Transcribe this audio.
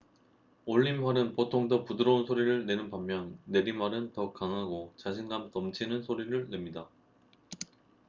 올림활은 보통 더 부드러운 소리를 내는 반면 내림활은 더 강하고 자신감 넘치는 소리를 냅니다